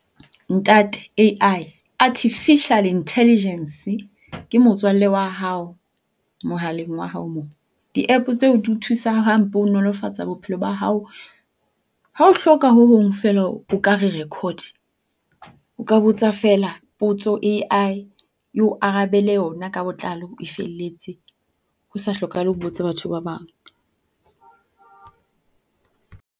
Ntate A_I, Artificial Intelligence ke motswalle wa hao mohaleng wa hao mo. Di-app tseo di o thusa hampe e nolofatsa bophelo ba hao. Ha o hloka ho hong feela o ka re record, o ka botsa feela potso A_I eo arabele yona ka botlalo e felletse ho sa hlokahale o botse batho ba bang.